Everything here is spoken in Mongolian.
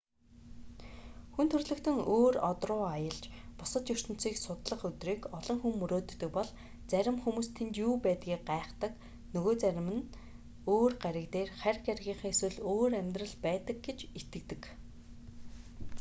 хүн төрөлхтөн өөр од руу аялж бусад ертөнцийг судлах өдрийг олон хүн мөрөөддөг бол зарим хүмүүс тэнд юу байдгийг гайхдаг нөгөө зарим нь өөр гариг дээр харь гаригийнхан эсвэл өөр амьдрал байдаг гэж итгэдэг